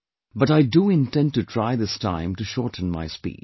But I do intend to try this time to shorten my speech